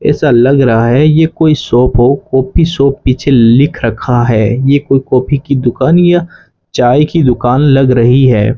ऐसा लग रहा है ये कोई शॉप हो कॉफी शॉप पीछे लिख रखा है ये कोई कॉफी की दुकान या चाय की दुकान लग रही है।